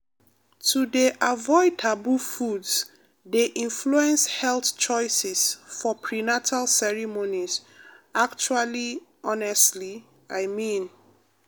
to dey avoid taboo foods dey influence health choices for prenatal ceremonies actually honestly i mean.